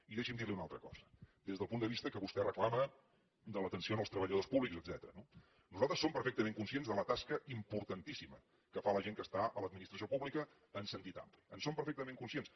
i deixi’m dir li una altra cosa des del punt de vista que vostè reclama de l’atenció als treballadors públics etcètera no nosaltres som perfectament conscients de la tasca importantíssima que fa la gent que està a l’administració pública en sentit ampli en som perfectament conscients